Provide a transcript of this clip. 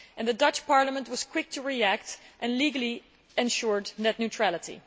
The Dutch Parliament was quick to react and legally ensured net neutrality.